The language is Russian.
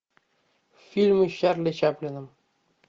фильмы с чарли чаплином